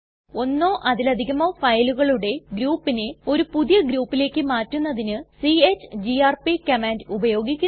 ഒന്നോ അതിലധികമോ ഫയലുകളുടെ ഗ്രൂപ്പിനെ ഒരു പുതിയ ഗ്രൂപ്പിലേക്ക് മാറ്റുന്നതിന് ചിഗിആർപി കമാൻഡ് ഉപയോഗിക്കുന്നു